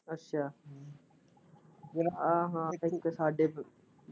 ਅੱਛਾ ਆਹਾ ਠੀਕ ਐ ਠੀਕ ਹੈ ਸਾਡੇ।